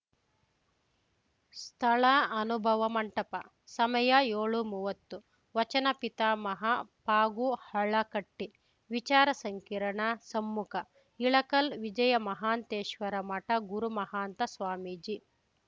ಸ್ಥಳ ಅನುಭವ ಮಂಟಪ ಸಮಯ ಯೋಳುಮುವತ್ತು ವಚನ ಪಿತಾಮಹ ಫಗುಹಳಕಟ್ಟಿ ವಿಚಾರಸಂಕಿರಣ ಸಮ್ಮುಖಇಳಕಲ್‌ ವಿಜಯಮಹಾಂತೇಶ್ವರಮಠ ಗುರುಮಹಾಂತ ಸ್ವಾಮೀಜಿ